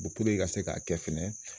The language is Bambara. i ka se k'a kɛ fɛnɛ